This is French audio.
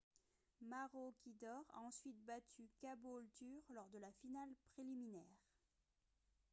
maroochydore a ensuite battu caboolture lors de la finale préliminaire